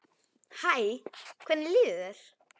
Hæ, hvernig líður þér?